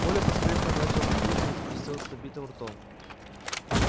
коля поспешно начал закусывать спросил с набитым ртом